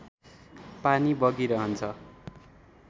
पानी बगिरहन्छ